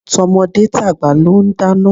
Tọmọdé tàgbà ló ń dáná.